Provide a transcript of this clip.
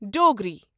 Dogri